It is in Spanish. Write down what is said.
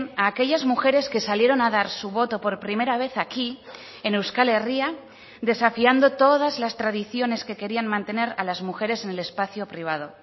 a aquellas mujeres que salieron a dar su voto por primera vez aquí en euskal herria desafiando todas las tradiciones que querían mantener a las mujeres en el espacio privado